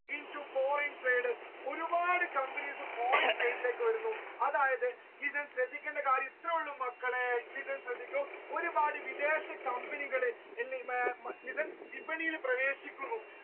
into foreign trade ഒരുപാട് companies foreign trade ലേക്ക് വരുന്നു അതായത് ഇതിൽ ശ്രദ്ധിക്കേണ്ട കാര്യം ഇത്രയേ ഉള്ളു മക്കളെ നിങ്ങൾ ശ്രദ്ധിക്കൂ ഒരുപാട് വിദേശ company കൾ വിപണിയിൽ പ്രവേശിക്കുന്നു